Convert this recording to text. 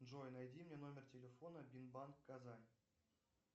джой найди мне номер телефона бинбанк казань